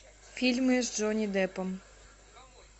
фильмы с джонни деппом